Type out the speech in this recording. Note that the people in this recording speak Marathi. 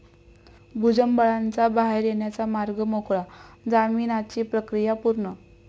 भुजबळांचा बाहेर येण्याचा मार्ग मोकळा, जामीनाची प्रक्रिया पूर्ण